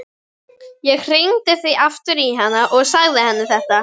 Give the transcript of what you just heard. Ég hringdi því aftur í hana og sagði henni þetta.